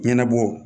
Ɲɛnabɔ